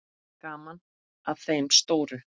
Gaman að þeim stóru.